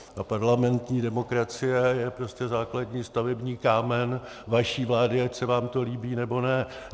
A parlamentní demokracie je prostě základní stavební kámen vaší vlády, ať se vám to líbí, nebo ne.